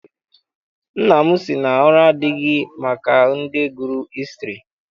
Nna m sị na ọrụ adịghị maka ndị gụrụ hịstrị.